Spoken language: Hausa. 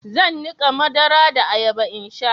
zan nika madara da ayaba in sha